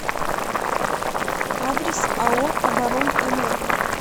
адрес ао оборонэнерго